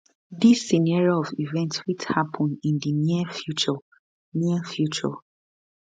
dis scenario of events fit happun in di near future near future